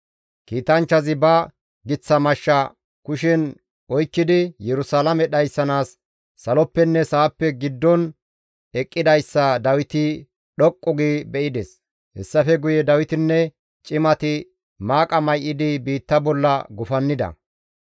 Kiitanchchazi ba giththa mashsha kushen oykkidi Yerusalaame dhayssanaas saloppenne sa7appe giddon eqqidayssa Dawiti dhoqqu gi be7ides; hessafe guye Dawitinne cimati maaqa may7idi biitta bolla gufannida.